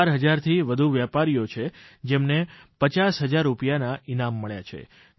ચાર હજારથી વધુ વેપારીઓ છે જેમને પચાસ પચાસ હજાર રૂપિયાના ઇનામ મળ્યા છે